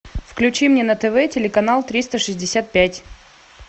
включи мне на тв телеканал триста шестьдесят пять